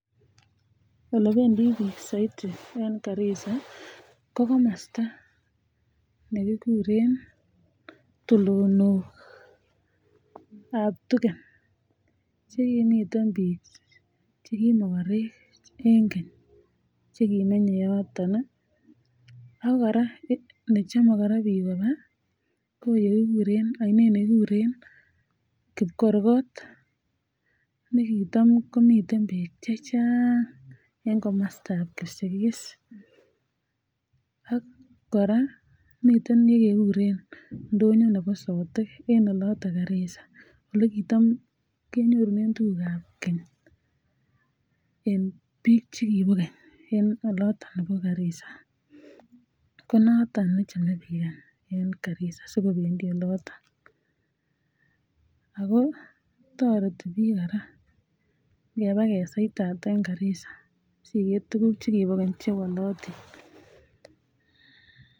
Ole bendik bik saiti en garisa ko kamasta nekikuren tulonok ab tugen Chemiten bik chekimagarek en keny chekimenye yoton akoraa chome koraa bik Koba koyekikuren anan ko ainet nekikuren kibkorkot nikitam komiten bek chechang en komasta ab kipsigis AK koraa komiten yekekuren ndonyo Nebo sotik yoton garisa itam kenyorunenbtuguk ab Keny en bik chekibo Keny en oloton olimbo garisa koniton nechame bik en garisa sikobendi yoton akotareti bik koraa ngeba keswetat en garisa singer tuguk chekibo Keny chemawalotin